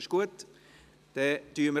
– Das ist der Fall.